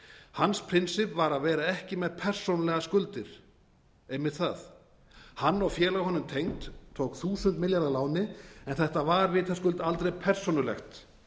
hans prinsipp var að vera ekki með persónulegar skuldir einmitt það hann og félög honum tengd tóku þúsund milljarða að láni en þetta var vitaskuld aldrei persónulegt